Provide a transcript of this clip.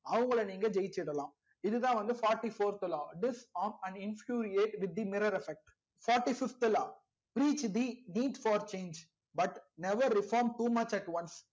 அவங்கல நீங்க ஜெயிச்சிடலா இதுதா வந்து fourty fourth law disharm and infuriate with the mirror affect fourty fifth law reach the for change but never reform too much at once